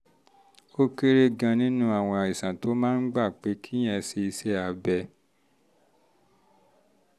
ó kéré gan-an nínú àwọn àìsàn tó máa ń gba pé kéèyàn ṣe iṣẹ́ abẹ